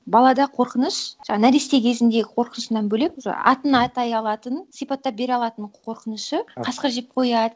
балада қорқыныш нәресте кезіндегі қорқынышынан бөлек уже атын атай алатын сипаттап бере алатын қорқынышы қасқыр жеп қояды